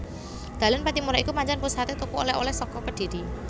Dalan Pattimura iku pancen pusaté tuku oleh oleh saka Kedhiri